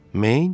Main?